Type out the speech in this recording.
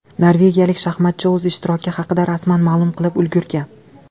Norvegiyalik shaxmatchi o‘z ishtiroki haqida rasman ma’lum qilib ulgurgan.